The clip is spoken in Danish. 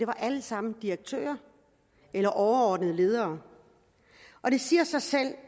var alle sammen direktører eller overordnede ledere og det siger sig selv